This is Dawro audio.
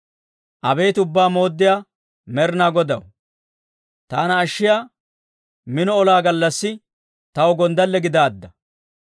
Abeet Ubbaa Mooddiyaa Med'inaa Godaw, taana ashshiyaa minoo, olaa gallassi taw gonddale gidaadda.